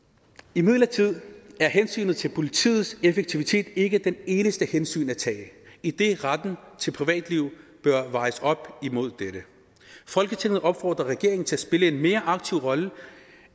imidlertid er hensynet til politiets effektivitet ikke det eneste hensyn at tage idet retten til privatliv bør vejes op imod dette folketinget opfordrer regeringen til at spille en mere aktiv rolle